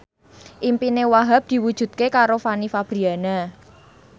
impine Wahhab diwujudke karo Fanny Fabriana